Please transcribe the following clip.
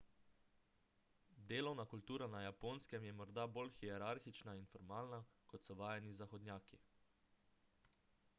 delovna kultura na japonskem je morda bolj hierarhična in formalna kot so vajeni zahodnjaki